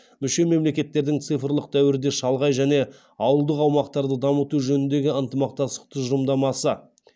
мүше мемлекеттердің цифрлық дәуірде шалғай және ауылдық аумақтарды дамыту жөніндегі ынтымақтастық тұжымдамасы